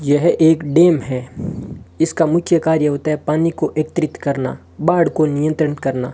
यह एक डैम है इसका मुख्य कार्य होता है पानी को एकत्रित करना बाढ़ को नियंत्रित करना।